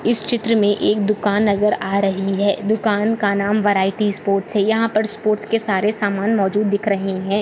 इस चित्र मे एक दुकान नजर आ रही है दुकान का नाम वैरायटी स्पोर्ट्स यहा पर स्पोर्ट्स के सारे समान मौजूद दिख रहे है।